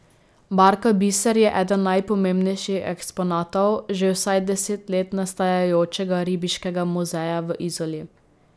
Barka Biser je eden najpomembnejših eksponatov že vsaj deset let nastajajočega ribiškega muzeja v Izoli.